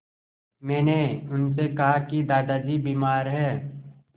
मैंने उनसे कहा कि दादाजी बीमार हैं